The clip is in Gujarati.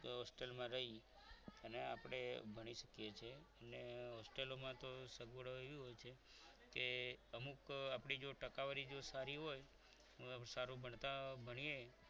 Hostel માં આપણે રહી અને આપણે ભણી શકીએ છીએ hostel માં તો સગવડ એવી હોય છે કે અમુક આપણી જો ટકાવારી સારી હોય સારું ભણતા ભણીએ